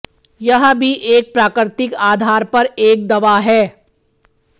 यह भी एक प्राकृतिक आधार पर एक दवा है